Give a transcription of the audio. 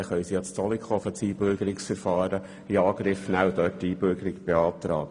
Dann können sie das Einbürgerungsverfahren in Zollikofen in Angriff nehmen.